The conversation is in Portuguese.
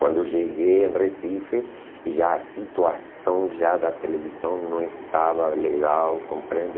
Quando eu cheguei em Recife, já a situação já da televisão não estava legal, compreende?